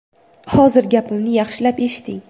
Hozir gapimni yaxshilab eshiting.